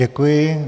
Děkuji.